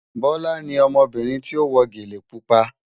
Bọ́lá ni ọmọbìnrin tí ó wọ gẹ́lẹ̀ púpà